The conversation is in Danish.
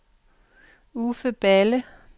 Uffe Balle